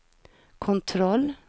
kontroll